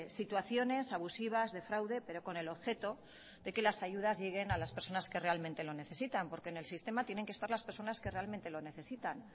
situaciones abusivas de fraude pero con el objeto de que las ayudas lleguen a las personas que realmente lo necesitan porque en el sistema tienen que estar las personas que realmente lo necesitan